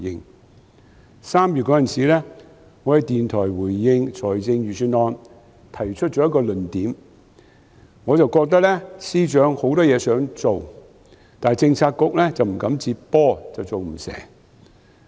在3月，我在電台回應財政預算案時提出了一個論點，我覺得司長有很多事情想做，但政策局不敢接手，所以不能成事。